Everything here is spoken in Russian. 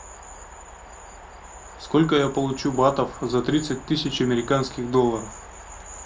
сколько я получу батов за тридцать тысяч американских долларов